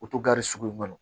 O to gari sugu in balo